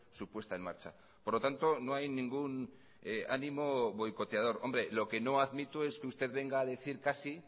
su puesta en marcha por lo tanto no hay ningún ánimo boicoteador hombre lo que no admito es que usted venga a decir casi